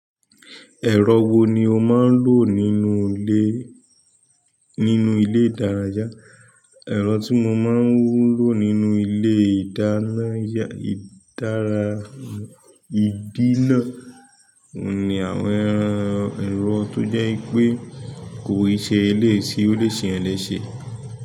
Ẹ̀rọ wo ni o máa ń lò nínú ilé—nínú ilé ìdárayá? Ẹ̀rọ tí mo máa ń lò nínú ilé ìdáná yà—, ìdára—, ìdí náà òun ni àwọn—ẹ̀rọ tó jẹ́ pé kò í ṣe àwọn eléyìí tí ó lè ṣ'èyàn léṣe.